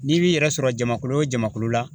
N'i b'i yɛrɛ sɔrɔ jamakulu o jamakulu la